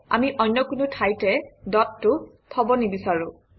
আমি অন্য কোনো ঠাইতে ডটটো থব নিবিচাৰোঁ